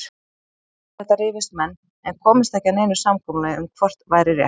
Um þetta rifust menn en komust ekki að neinu samkomulagi um hvort væri rétt.